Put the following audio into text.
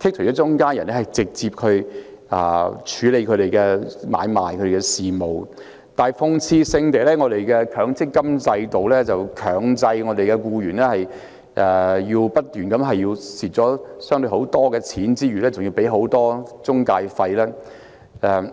剔除中間人，直接處理他們的買賣和事務，但諷刺性地，我們的強積金制度卻強迫我們的僱員一邊不斷虧蝕，一邊支付巨額中介費用。